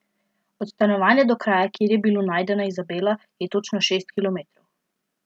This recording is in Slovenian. Od stanovanja do kraja, kjer je bilo najdena Izabela, je točno šest kilometrov.